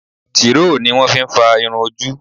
Tíìrò ni wón fi ń fa irun ojú.